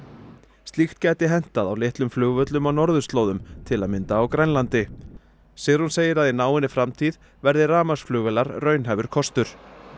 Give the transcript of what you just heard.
slíkt gæti hentað á litlum flugvöllum á norðurslóðum til að mynda á Grænlandi Sigrún segir að í náinni framtíð verði rafmagnsflugvélar raunhæfur kostur